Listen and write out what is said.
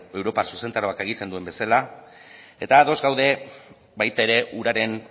europar zuzentarauak agintzen duen bezala eta ados gaude baita ere uraren